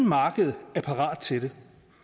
markedet er parat til det